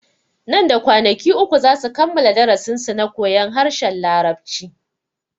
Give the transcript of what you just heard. Nan da kwanaki uku zasu kammala darasin su na koyon harshen larabci